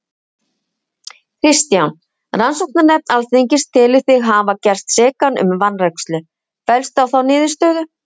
Kristján: Rannsóknarnefnd Alþingis telur þig hafa gerst sekan um vanrækslu, fellstu á þá niðurstöðu?